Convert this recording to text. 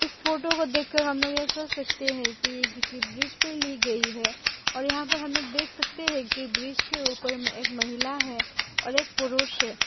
इस फोटो को देख कर हम लोग यह कह सकते हैं कि ये किसी ब्रिज पर ली गई है और यहां पर हम लोग देख सकते हैं कि ब्रिज के ऊपर में एक महिला है और एक पुरुष है।